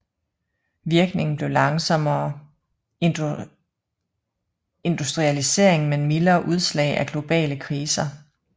Virkningen blev langsommere industrialisering men mildere udslag af globale kriser